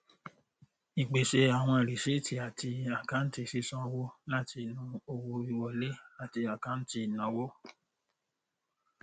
ípèsè àwọn rìsíìtì àti àkáǹtì sísan owó láti inú owó wíwọlé àti àkáǹtì ìnáwó